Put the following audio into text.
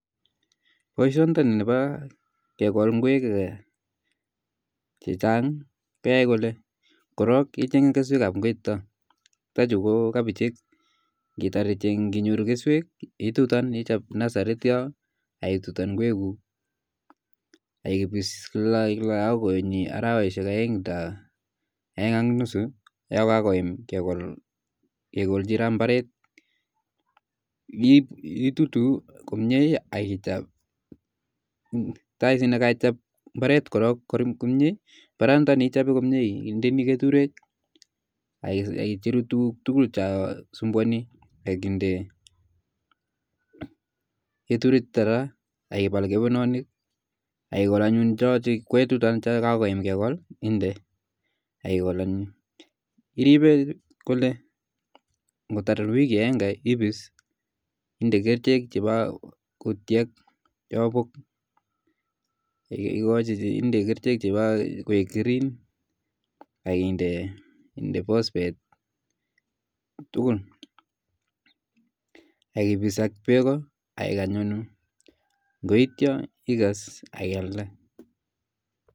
Boisioni nepa kekol ngwek chechang' keae kole korok ichenge keswek ap kwek chuta chutachu ko kapichek, ngotar ichenge nginyoru keswek itutan ichap nasarit sistyo itutan gwek kuuk akipis kila ako konyi arawaeshek aeng nda aeng ak nusu yo kakoim kekol kekolchi raa mbaret ,hiip itutu komye ak ichap, tai snee kaichap mbaret korok komye ,mbaret nthani ichape komye indeni keturek ak icheru tukuk tukul cho sumbuani ak inde keturek chuto raa ak ipal kepenonik akikol anyun choo kwetutan cho kakoim kekol inde ak ikol anyun iripe kole ngotar wiki aenge ipis inde kerchek chepa kutyek inde kerchek chepa koek green ak inde postpet ak ipis ak beko akikany koet, ngoitio ikes ak ialde